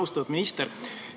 Austatud minister!